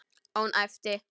Og hún æpti.